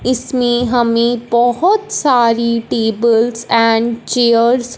इसमें हमें बोहोत सारी टेबल्स एंड चेयर्स --